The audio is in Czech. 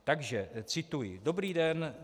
Takže cituji: "Dobrý den.